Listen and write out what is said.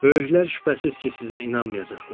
Böyüklər şübhəsiz ki, sizə inanmayacaqlar.